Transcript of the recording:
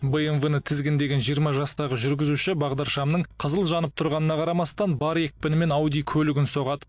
бмв ны тізгіндеген жиырма жастағы жүргізуші бағдаршамның қызыл жанып тұрғанына қарамастан бар екпінімен ауди көлігін соғады